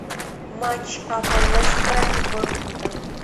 матч апл лестера и борнмута